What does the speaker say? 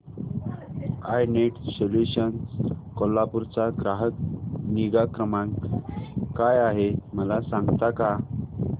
I net solutions Kolhapur चा ग्राहक निगा क्रमांक काय आहे मला सांगता का